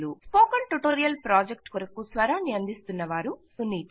spoken tutorial project కొరకు స్వరాన్ని అందిస్తున్నవారు సునీత